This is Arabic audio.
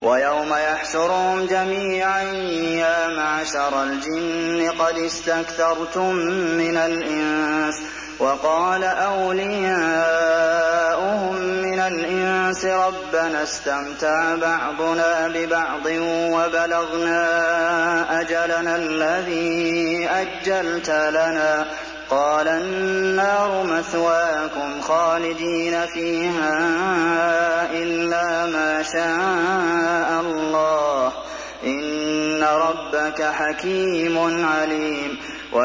وَيَوْمَ يَحْشُرُهُمْ جَمِيعًا يَا مَعْشَرَ الْجِنِّ قَدِ اسْتَكْثَرْتُم مِّنَ الْإِنسِ ۖ وَقَالَ أَوْلِيَاؤُهُم مِّنَ الْإِنسِ رَبَّنَا اسْتَمْتَعَ بَعْضُنَا بِبَعْضٍ وَبَلَغْنَا أَجَلَنَا الَّذِي أَجَّلْتَ لَنَا ۚ قَالَ النَّارُ مَثْوَاكُمْ خَالِدِينَ فِيهَا إِلَّا مَا شَاءَ اللَّهُ ۗ إِنَّ رَبَّكَ حَكِيمٌ عَلِيمٌ